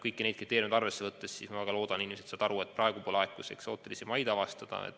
Kõiki neid kriteeriume arvesse võttes ma väga loodan, et inimesed saavad aru, et praegu pole aeg eksootilisi maid avastada.